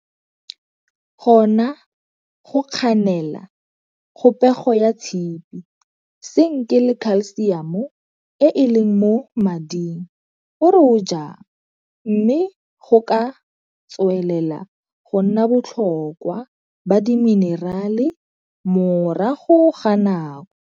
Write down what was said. Gona go kganela kgopego ya tshipi, senke le kalsiamo e e leng mo mmiding o re o jang mme go ka tswelela go nna botlhokwa ba diminerale morago ga nako.